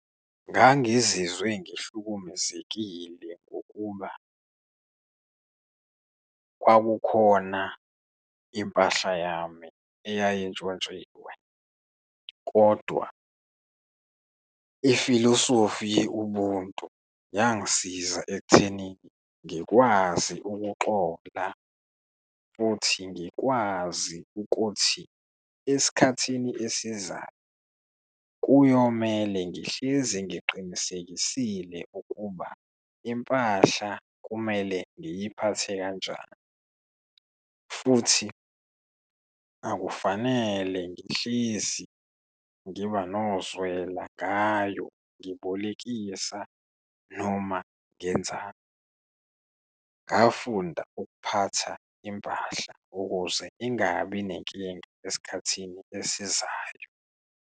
Ngangizizwe ngihlukumezekile, ngokuba kwakukhona impahla yami eyayintshontshiwe kodwa ifilosofi ye-ubuntu yangisiza ekutheni ngikwazi ukuxola, futhi ngikwazi ukuthi esikhathini esizayo kuyomele ngihlezi ngiqinisekisile ukuba impahla kumele ngiyiphathe kanjani, futhi akufanele ngihlezi ngiba nozwela ngayo, ngibolekise ngayo noma ngenzani. Ngafunda ukuphatha impahla ukuze ingabi nenkinga esikhathini esizayo.